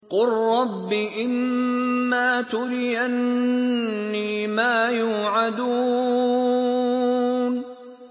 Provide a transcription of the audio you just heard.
قُل رَّبِّ إِمَّا تُرِيَنِّي مَا يُوعَدُونَ